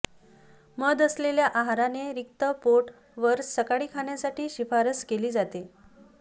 मध असलेल्या आहाराने रिक्त पोट वर सकाळी खाण्यासाठी शिफारस केली जाते